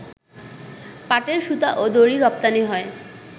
পাটের সুতা ও দড়ি রপ্তানি হয়